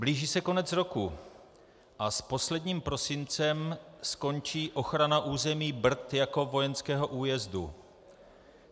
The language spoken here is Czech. Blíží se konec roku a s posledním prosincem skončí ochrana území Brd jako vojenského újezdu.